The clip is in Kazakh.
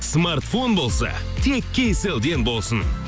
смартфон болса тек кейселден болсын